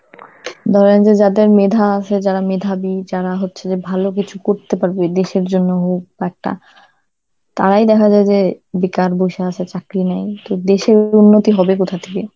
ধরেন যে যাদের মেধা আছে, যারা মেধাবী, যারা হচ্ছে যে ভালো কিছু করতে পারবে, দেশের জন্য hope একটা, তারাই দেখা যায় যে বেকার বসে আছে, চাকরি নেই. তো দেশের উন্নতি হবে কোথা থেকে?